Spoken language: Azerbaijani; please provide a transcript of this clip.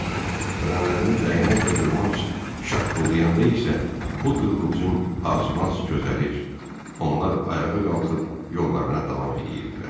Bədənlərində dəyənək və qırmanc şaqqıldayanda isə bu qığılcım azmaz közərər, onlar ayağa qalxıb yollarına davam eləyirdilər.